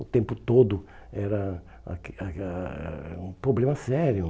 O tempo todo era era um problema sério.